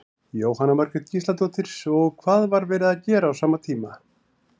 Jóhanna Margrét Gísladóttir: Og hvað var verið að gera á sama tíma?